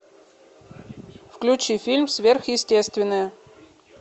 включи фильм сверхъестественное